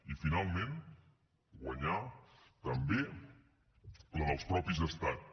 i finalment guanyar també la dels mateixos estats